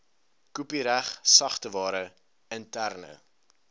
kopiereg sagteware interne